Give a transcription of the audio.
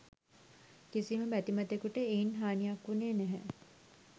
කිසිම බැතිමතෙකුට එයින් හානියක් වුණේ නැහැ.